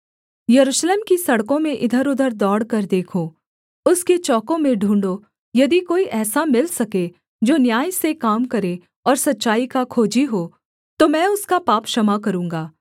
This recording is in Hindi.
यरूशलेम की सड़कों में इधरउधर दौड़कर देखो उसके चौकों में ढूँढ़ो यदि कोई ऐसा मिल सके जो न्याय से काम करे और सच्चाई का खोजी हो तो मैं उसका पाप क्षमा करूँगा